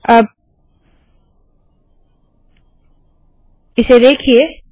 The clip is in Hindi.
अब इसे देखिए